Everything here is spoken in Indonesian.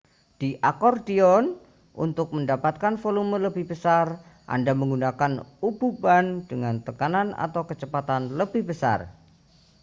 di akordion untuk mendapatkan volume lebih besar anda menggunakan ububan dengan tekanan atau kecepatan lebih besar